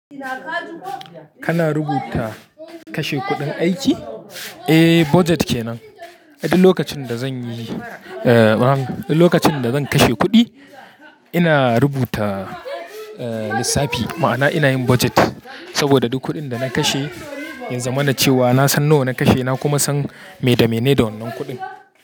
Kana rubuta kashe kuɗin aiki? Eh, budget kenan. Duk lokacin da zan yi, duk lokacin da zan kashe kuɗi, ina rubuta lissafi. Ma'ana ina yin budget. Saboda duk kuɗin da na kashe, ya zama na cewa na san nawa na kashe, na kuma san me da mene da wannan kuɗin.